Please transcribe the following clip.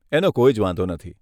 એનો કોઈ જ વાંધો નથી.